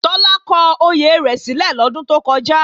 Tọ́lá kọ oyè rẹ̀ sílẹ̀ lọ́dún tó kọjá